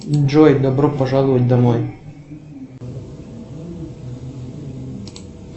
джой добро пожаловать домой